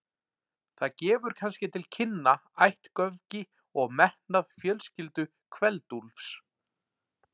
Það gefur kannski til kynna ættgöfgi og metnað fjölskyldu Kveld-Úlfs.